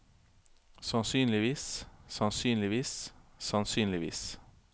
sannsynligvis sannsynligvis sannsynligvis